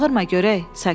Bağırma görək!